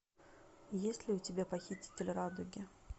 есть ли у тебя похититель радуги